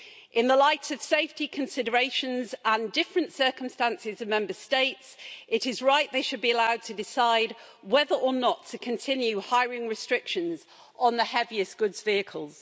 In the light of safety considerations and different circumstances in the Member States, it is right they should be allowed to decide whether or not to continue hiring restrictions on the heaviest goods vehicles.